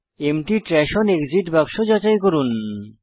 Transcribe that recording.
empty trash on exit বাক্স যাচাই করুন